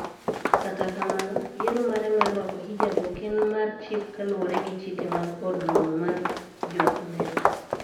Kata kamano, yiero mare mar rwako hijab ok en mar chik kaluwore gi chike mag Od Romo mar Jo-Amerka.